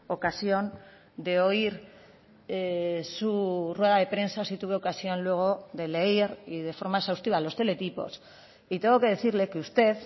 ocasión de oír su rueda de prensa sí tuve ocasión luego de leer y de forma exhaustiva los teletipos y tengo que decirle que usted